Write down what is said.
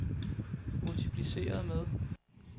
multipliceret med